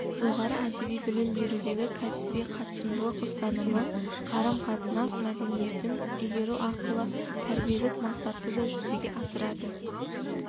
жоғары әдеби білім берудегі кәсіби-қатысымдылық ұстанымы қарам-қатынас мәдениетін игеру арқылы тәрбиелік мақсатты да жүзеге асырады